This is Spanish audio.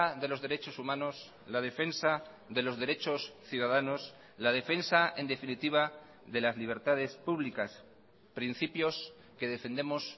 de los derechos humanos la defensa de los derechos ciudadanos la defensa en definitiva de las libertades públicas principios que defendemos